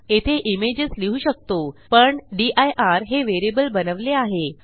येथे इमेजेस लिहू शकतो पण दिर हे व्हेरिएबल बनवले आहे